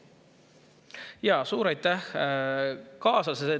Jaa, suur aitäh!